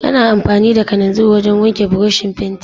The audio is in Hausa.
Ana amfani da kananzir wajen wanke burushin fenti.